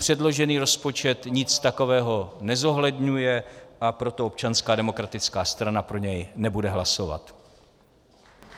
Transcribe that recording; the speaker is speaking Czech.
Předložený rozpočet nic takového nezohledňuje, a proto Občanská demokratická strana pro něj nebude hlasovat.